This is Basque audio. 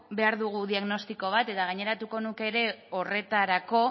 behar dugu diagnostiko bat eta gaineratuko nuke ere horretarako